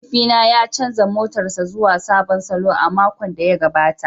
Mahaifina ya canza motarsa ​​zuwa sabon salo a makon da ya gabata.